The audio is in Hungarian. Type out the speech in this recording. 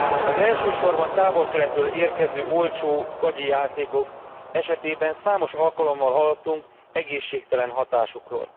Az elsősorban Távol Keletről érkező olcsó, gagyi játékok esetében számos alkalommal hallhattunk egészségtelen hatásokról.